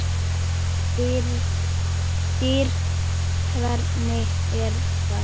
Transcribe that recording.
DYR, HVERNIG ER ÞAÐ!